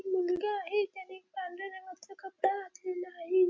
मुलगा आहे त्यानी पांढऱ्या रंगाचा कपडा घातलेला आहे.